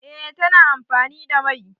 Eh, ta na amfani da mai